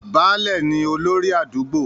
Baálẹ̀ ni olórí àdúgbò.